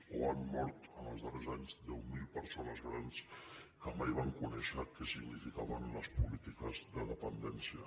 o han mort en els darrers anys deu mil persones grans que mai van conèixer què significaven les polítiques de dependència